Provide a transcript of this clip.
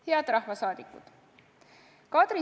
Head rahvasaadikud!